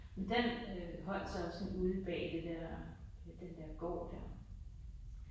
Men den øh holdt så også sådan ude bag det der den der gård der